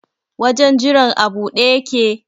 Wajen jiran a buɗe yake?